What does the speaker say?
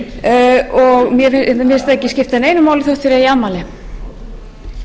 forseti ég óska hæstvirt ríkisstjórn alls hins besta og ég